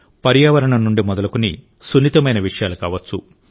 పర్యావరణం నుండి మొదలుకుని సున్నితమైన విషయాలు కావచ్చు